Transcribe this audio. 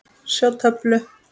Sjá töflu.